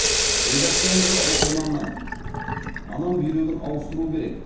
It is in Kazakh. редакциямызға оқырманнан анам бүйрегін ауыстыру керек